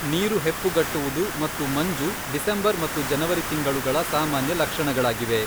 ನೀರು ಹೆಪ್ಪುಗಟ್ಟುವುದು ಮತ್ತು ಮಂಜು ಡಿಸೆಂಬರ್ ಮತ್ತು ಜನವರಿ ತಿಂಗಳುಗಳ ಸಾಮಾನ್ಯ ಲಕ್ಷಣಗಳಾಗಿವೆ.